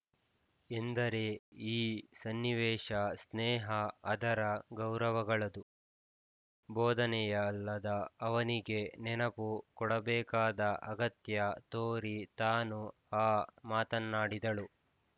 ಎಂದರೆ ಈ ಸನ್ನಿವೇಶ ಸ್ನೇಹ ಆದರ ಗೌರವಗಳದು ಬೋಧನೆಯಲ್ಲದ ಅವನಿಗೆ ನೆನಪು ಕೊಡಬೇಕಾದ ಅಗತ್ಯ ತೋರಿ ತಾನು ಆ ಮಾತನ್ನಾಡಿದ್ದಳು